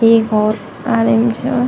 ऐक --